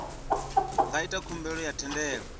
nga ita khumbelo ya thendelo